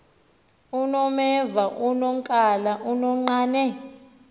unomeva unonkala unonqane